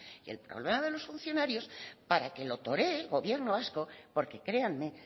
y el problema de los funcionarios para que lo toree el gobierno vasco porque créanme